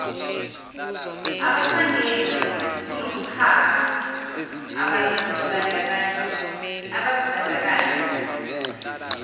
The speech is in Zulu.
abasangena kulomkhakha abazibandakanya